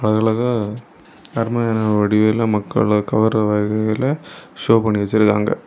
அழகு அழகா அட்மையர் ஆற வடிவில மக்கள கவர்ற வகையில ஷோ பண்ணி வச்சிருக்காங்க.